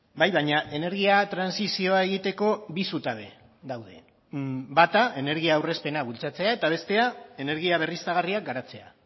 bai baina energia trantsizioa egiteko bi zutabe daude bata energia aurrezpena bultzatzea eta bestea energia berriztagarriak garatzea